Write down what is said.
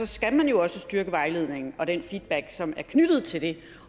skal man jo også styrke vejledningen og den feedback som er knyttet til det